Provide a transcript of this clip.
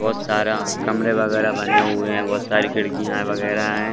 बहुत सारा कमरे वागेरा बने हुए है बहुत सारा खिड़कियां वगैरा है।